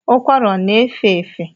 Ụkwara ọ na-efe efe?